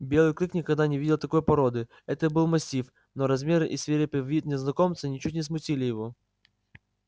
белый клык никогда не видел такой породы это был мастиф но размеры и свирепый вид незнакомца ничуть не смутили его